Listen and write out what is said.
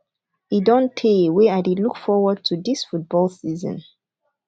e don tey wey i dey look forward to dis football season